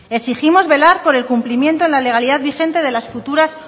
exigimos velar por el cumplimiento la legalidad vigente de las futuras